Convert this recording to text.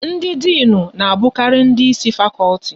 Ndị Dịnụ na abukari ndị Ịsị fakọlti